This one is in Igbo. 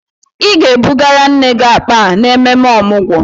Ị ga-ebugara nne gị akpa a n'ememme Ọmụgwọ!